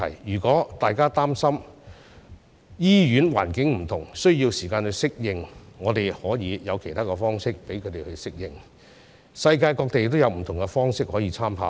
如果大家擔心醫院環境不同，需要時間適應，我們可以有其他方式讓他們適應，世界各地也有不同方式可以參考。